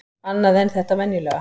Annað en þetta venjulega.